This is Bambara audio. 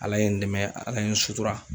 Ala ye n dɛmɛ , ala ye n sutura.